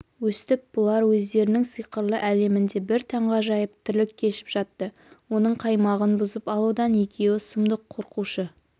өстіп бұлар өздерінің сиқырлы әлемінде бір таңғажайып тірлік кешіп жатты оның қаймағын бұзып алудан екеуі сұмдық қорқушы